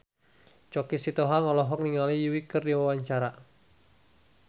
Choky Sitohang olohok ningali Yui keur diwawancara